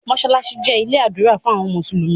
masalasi jé ilé ádùrá fún àwọn mùsùlùmí.